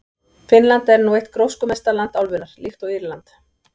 Finnland er nú eitt gróskumesta land álfunnar, líkt og Írland.